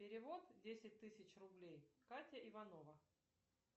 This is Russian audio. перевод десять тысяч рублей катя иванова